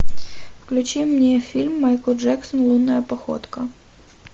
включи мне фильм майкл джексон лунная походка